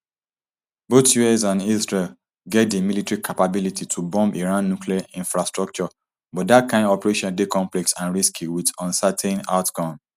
both us and israel get di military capabilities to bomb iran nuclear infrastructure but dat kain operation dey complex and risky wit uncertain outcome